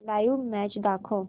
live match दाखव